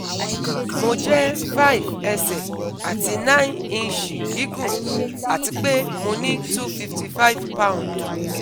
Mo jẹ́ 5 ẹsẹ̀ àti 9 ìnṣì gígùn àti pe mo ní 255 pạ́ùndù